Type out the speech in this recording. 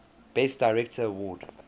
best director award